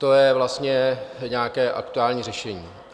To je vlastně nějaké aktuální řešení.